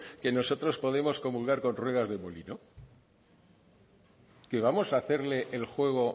que nosotros podemos comulgar con ruedas de molino que vamos a hacerle el juego